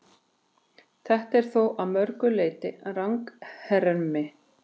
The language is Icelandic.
Þetta er þó að mörgu leyti ranghermi.